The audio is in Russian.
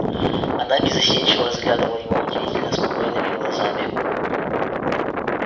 она беззастенчиво разглядывала его удивительно спокойными глазами